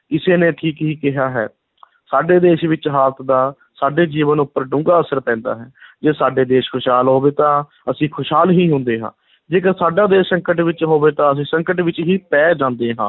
ਕਿਸੇ ਨੇ ਠੀਕ ਹੀ ਕਿਹਾ ਹੈ ਸਾਡੇ ਦੇਸ਼ ਵਿੱਚ ਹਾਲਤ ਦਾ ਸਾਡੇ ਜੀਵਨ ਉੱਪਰ ਡੂੰਘਾ ਅਸਰ ਪੈਂਦਾ ਹੈ ਜੇ ਸਾਡਾ ਦੇਸ਼ ਖੁਸ਼ਹਾਲ ਹੋਵੇ ਤਾਂ ਅਸੀਂ ਖੁਸ਼ਹਾਲ ਹੀ ਹੁੰਦੇ ਹਾਂ, ਜੇਕਰ ਸਾਡਾ ਦੇਸ਼ ਸੰਕਟ ਵਿੱਚ ਹੋਵੇ ਤਾਂ ਅਸੀਂ ਸੰਕਟ ਵਿੱਚ ਹੀ ਪੈ ਜਾਂਦੇ ਹਾਂ।